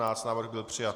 Návrh byl přijat.